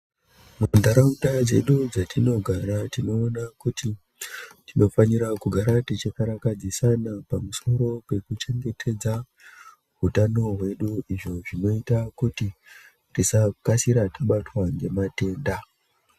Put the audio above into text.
Munharaunda dzedu dzatinogara tinoona kuti tinofanira kugara techikarakadzisana pamusoro pekuchengetedza hutano hwedu izvo zvinoita kuti tisakasira tabatwa ngematenda.